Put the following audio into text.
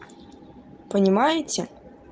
понимаете